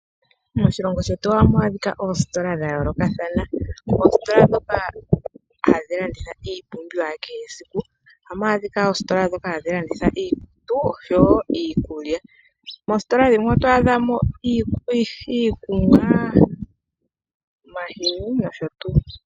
Moshilongo shetu ohamu adhika oositola dha yoolokathana. Otu na oositola ndhoka hadhi adhika iipumbiwa yakehe esiku, noositola dhiikutu niikulya. Moositola dhimwe oto adha mo mu na iikunwa, omahini nosho tuu.